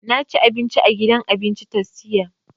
Na ci abinci a gidan abincin tastia